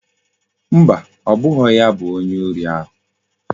Mba, obughi ya bu onye ori ahu